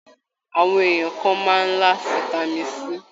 Àwọn èèyàn kàn máa n là fitami C.